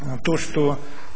а то что